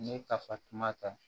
N'i ye kafatuma ta